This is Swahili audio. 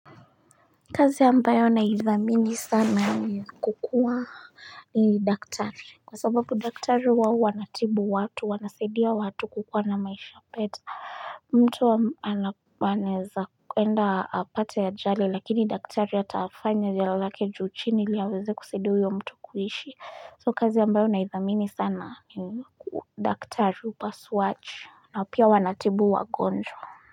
Kazi ambayo naidhamini sana ni ya kukuwa ni daktari kwa sababu daktari huwa wanatibu watu wanasadia watu kukuwa na maisha peta mtu anaeza enda apate ajali lakini daktari atafanya jala lake juu chini ili aweze kusaidia uyo mtu kuishi so kazi ambayo naidhamini sana ni daktari upasuach na pia wanatibu wagonjwa.